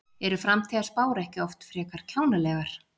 Eru framtíðarspár ekki oft frekar kjánalegar?